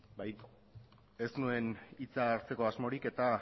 bai ez nuen hitza hartzeko asmorik eta